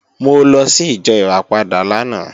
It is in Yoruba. Mo lọ sí ìjọ Ìràpadà lánàá